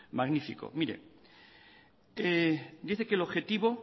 magnífico mire dice que el objetivo